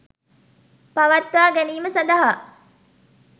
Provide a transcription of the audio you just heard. පවත්වා ගැනීම සඳහා